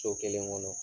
So kelen kɔnɔ